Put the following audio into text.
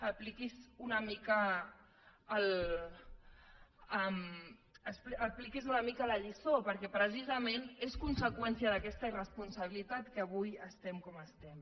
apliqui’s una mica la lliçó perquè precisament és conseqüència d’aquesta irresponsabilitat que avui estem com estem